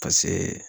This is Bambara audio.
Paseke